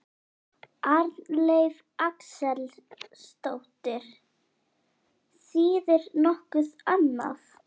Arnleif Axelsdóttir: Þýðir nokkuð annað?